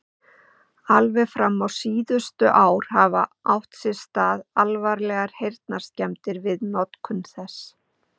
Alveg fram á síðustu ár hafa átt sér stað alvarlegar heyrnarskemmdir við notkun þess.